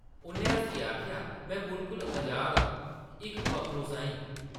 उʼन्नै हस्सियै आखेआ, ‘‘में बिल्कुल अज़ाद आं, इक पक्खरू साहीं ।’’